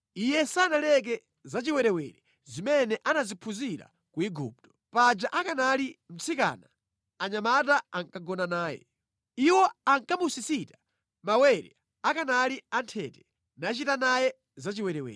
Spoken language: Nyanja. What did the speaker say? Iye sanaleke za chiwerewere zimene anaziphunzira ku Igupto. Paja akanali mtsikana anyamata ankagona naye. Iwo ankamusisita mawere akanali anthete nachita naye zachiwerewere.